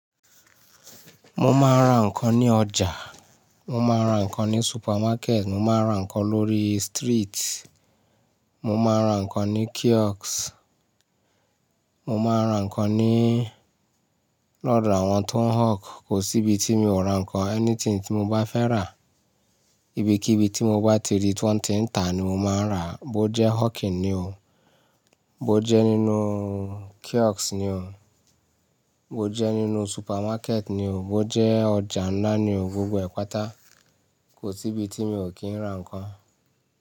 Mo máa ń ra ǹnkan ní ọjà, mo máa ń ra ǹnkan ní supermarket, mo máa ń ra ǹnkan lórí street, mo máa ń ra ǹnkan ní kiosk, mo máa ń ra ǹnkan ní lọ́dọ̀ àwọn tó ń hawk. Kò sí ibi tí mi ò ra ǹnkan, anything tí mo bá fẹ́ rà. Ibi kí ibi tí mo bá ti rí tí wọ́n ti ń tà ni mo máa ń rà á. Bó jẹ́ hawking ni o, bó jẹ́ nínú kiosk ni o, bó jẹ́ nínú supermarket ni o, bó jẹ́ ọjà ńlá ni o, gbogbo ẹ̀ pàtà kò sí ibi tí mi ò kí ń ra ǹnkan.